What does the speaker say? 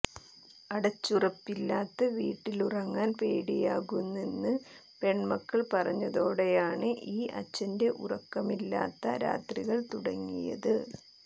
അടച്ചുറപ്പില്ലാത്ത വീട്ടിലുറങ്ങാൻ പേടിയാകുന്നെന്ന് പെൺമക്കൾ പറഞ്ഞതോടെയാണ് ഈ അച്ഛൻറെ ഉറക്കമില്ലാത്ത രാത്രികൾ തുടങ്ങിയത്